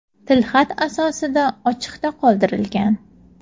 tilxat asosida ochiqda qoldirilgan.